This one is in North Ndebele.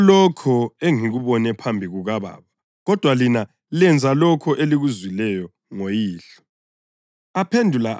Ngilitshela lokho engikubone phambi kukaBaba kodwa lina lenza lokho elikuzwileyo ngoyihlo.”